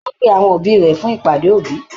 Á pe àwọn òbí rẹ̀ fún ìpàdé òbí